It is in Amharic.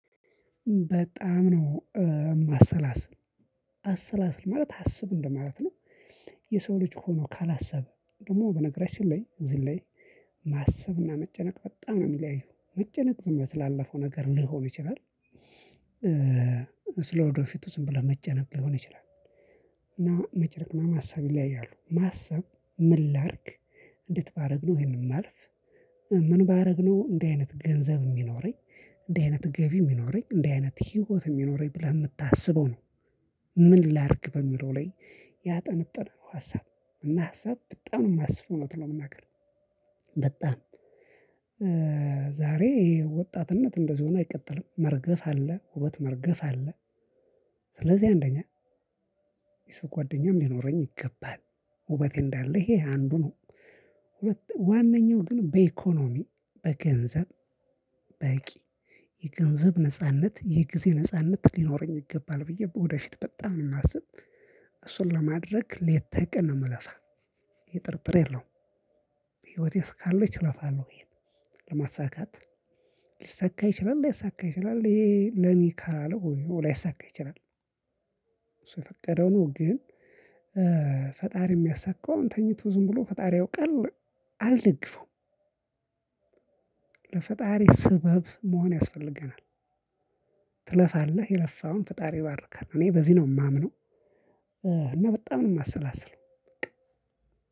በጣም ነው ማሰላስል አሰላስል ማለት አስብ እንደማለት ነው። የሰው ልጅ ሆኖ ካላሰበ ደግሞ በነገራችን ላይ ዝላይ። ማሰብና መጨነቅ በጣም ነው ሚለያየው መጨነቅ ዝም ብለህ ስላለፈው ነገር ሊሆን ይችላል። ስለ ወደፊቱ ዝም ብለህ መጨነቅ ሊሆን ይችላል። እና መጨነቅ ማሰብ ይለያያሉ። ማሰብ ምን ላድርግ? እንዴት ባደረግነው ይሄንን ማልፍ? ምን ባረግነው እንደዚህ አይነት ገንዘብ የሚኖረኝ እንደዚህ አይነት ገቢ የሚኖረኝ እንደዚህ አይነት ህይወት የሚኖረኝ ብለህ የምታስበው ነው። ምን ላርግ በሚለው ላይ ያጠነጠነ ነው። ሀሳብ እና ሀሳብ በጣም ነው የማስበው እውነት ለመናገር። በጣም ዛሬ ይሄ ወጣትነት እንደዚህ ሆኖ አይቀጥልም መርገፍ አለ ውበት መርገፍ አለ። ስለዚህ አንደኛ የሰው ጓደኛም ሊኖረኝ ይገባል። ውበቴ እንዳለ ይሄ አንዱ ነው። ሁለት ዋናው ግን በኢኮኖሚ በገንዘብ በቂ የገንዘብ ነጻነት የጊዜ ነጻነት ሊኖረኝ ይገባል ብዬ በወደፊት በጣም እማስብ። እሱን ለማድረግ ሌተቀን ነው ምለፋ። ይህ ጥርጥር የለውም። በህይወቴ እስካለች እለፋለሁ። ይሄን ለማሳካት ሊሰካ ይችላል ላይሳካ ይችላል ይሄ ለሚ ካላለ ላይሳካ ይችላል። እሱ የፈቀደው ነው። ግን ፈጣሪ የሚያሳካው አሁን ተኝቶ ዝም ብሎ ፈጣሪ ያ ያውቃል። አልደግፈውም። ለፈጣሪ ስበብ መሆን ያስፈልገናል። ትለፋለህ የለፋውን ፈጣሪ ይባርካል እኔ በዚህ ነው የማምነው። እና በጣም ነው የማሰላስለው።